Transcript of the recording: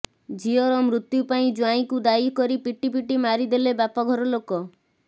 ଝିଅର ମୃତ୍ୟୁ ପାଇଁ ଜ୍ୱାଇଁକୁ ଦାୟୀ କରି ପିଟିପିଟି ମାରିଦେଲେ ବାପଘର ଲୋକ